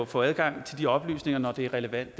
få adgang til de oplysninger når det er relevant